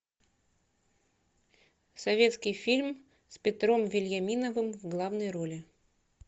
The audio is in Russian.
советский фильм с петром вельяминовым в главной роли